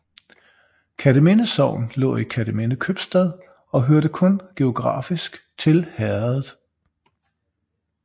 Kerteminde Sogn lå i Kerteminde Købstad og hørte kun geografisk til herredet